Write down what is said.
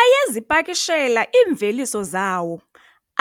Ayezipakishela iimveliso zawo